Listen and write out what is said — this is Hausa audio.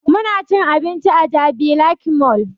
Muna cin abinci a jabi lake mall